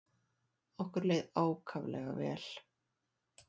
Okkur leið ákaflega vel.